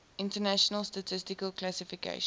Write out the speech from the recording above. international statistical classification